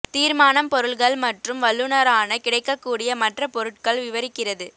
தீர்மானம் பொருள்கள் மற்றும் வல்லுநரான கிடைக்கக் கூடிய மற்ற பொருட்கள் விவரிக்கிறது